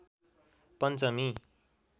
पञ्चमी